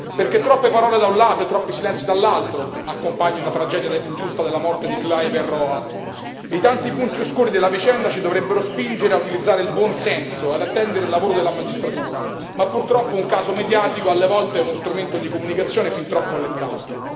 Perché troppe parole da un lato e troppi silenzi dall'altro accompagnano la tragedia ingiusta della morte di Kluivert Roa e i tanti punti oscuri della vicenda ci dovrebbero spingere ad utilizzare il buon senso, ad attendere il lavoro della magistratura, ma purtroppo un caso mediatico alle volte è uno strumento di comunicazione fin troppo allettante.